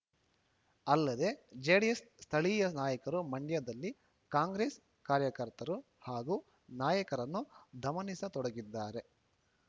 ಅಲ್ಲದೆ ಜೆಡಿಎಸ್‌ ಸ್ಥಳೀಯ ನಾಯಕರು ಮಂಡ್ಯದಲ್ಲಿ ಕಾಂಗ್ರೆಸ್‌ ಕಾರ್ಯಕರ್ತರು ಹಾಗೂ ನಾಯಕರನ್ನು ದಮನಿಸತೊಡಗಿದ್ದಾರೆ